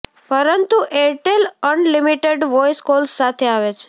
પરંતુ Airtel unlimited voice calls સાથે આવે છે